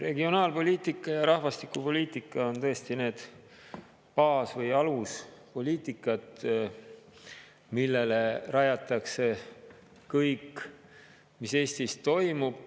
Regionaalpoliitika ja rahvastikupoliitika on tõesti need baas‑ või aluspoliitikad, millele rajatakse kõik, mis Eestis toimub.